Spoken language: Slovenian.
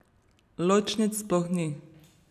Ločnic sploh ni.